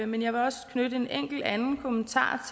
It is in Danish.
men jeg vil også knytte en enkelt anden kommentar